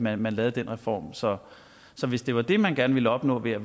at man lavede den reform så hvis det var det man gerne ville opnå ved at